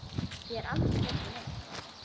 Ég er aldrei hrædd við neitt.